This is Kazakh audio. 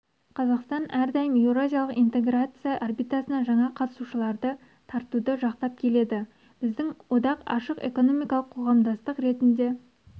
қазақстан әрдайым еуразиялық интеграция орбитасына жаңа қатысушыларды тартуды жақтап келеді біздің одақ ашық экономикалық қоғамдастық ретінде